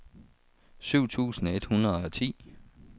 syv tusind et hundrede og ti